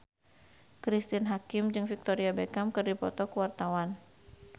Cristine Hakim jeung Victoria Beckham keur dipoto ku wartawan